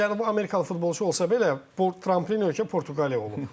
Hətta Cənubi Amerikalı futbolçu olsa belə, bu trampilin ölkə Portuqaliya olub.